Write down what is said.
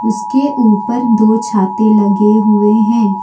इसके ऊपर दो छाते लगे हुवे हैं।